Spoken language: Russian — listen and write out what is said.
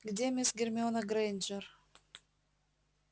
где мисс гермиона грэйнджер